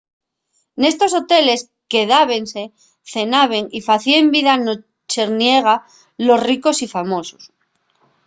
nestos hoteles quedábense cenaben y facíen vida nocherniega los ricos y famosos